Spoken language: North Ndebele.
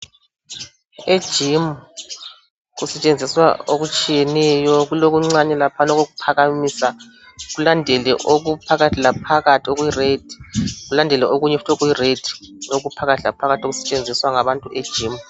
Ejimu kusetshenziswa okutshiyeneyo. Kule kuncane laphana okukhuphakamisa, kulandele ukuphakathi laphakathi okubomvu, kulandele okunye futhi okubombu ukuphakathi laphakathi okusetshenziswa labantu ejimu.